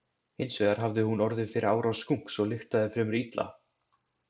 Hins vegar hafði hún orðið fyrir árás skunks og lyktaði því fremur illa.